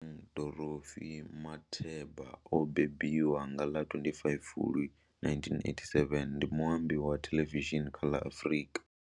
Bonang Dorothy Matheba o mbembiwa nga ḽa 25 Fulwi 1987, ndi muambi wa thelevishini kha ḽa Afrika.